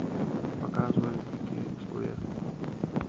показывай дикие условия